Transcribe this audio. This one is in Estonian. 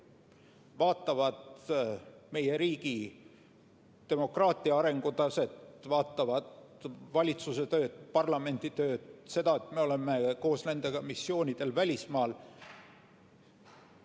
Nad vaatavad meie riigi demokraatia arengutaset, vaatavad valitsuse tööd, parlamendi tööd, seda, et me oleme koos nendega missioonidel välismaal.